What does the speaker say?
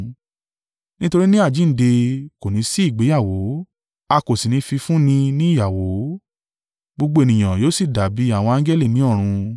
Nítorí ní àjíǹde kò ní sí ìgbéyàwó, a kò sì ní fi í fún ni ní ìyàwó. Gbogbo ènìyàn yóò sì dàbí àwọn angẹli ní ọ̀run.